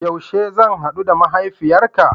Yaushe zan hadu da mahaifiyarka?